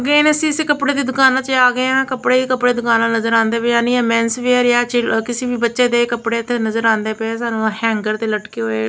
ਗਏ ਨੇ ਅਸੀਂ ਇਸੇ ਕੱਪੜੇ ਦੀ ਦੁਕਾਨਾਂ ਚ ਆ ਗਏ ਆ ਕੱਪੜੇ ਹੀ ਕੱਪੜੇ ਦੁਕਾਨਾਂ ਨਜ਼ਰ ਆਂਦੀਆਂ ਪਈਆਂ ਨੀ ਮੇਂਸ ਵੇਅਰ ਚਿਲਡ ਕਿਸੀ ਵੀ ਬੱਚੇ ਦੇ ਕੱਪੜੇ ਇੱਥੇ ਨਜ਼ਰ ਆਂਦੇ ਪਏ ਆ ਸਾਨੂੰ ਹੈਂਡਗਰ ਦੇ ਲਟਕੇ ਹੋਏ --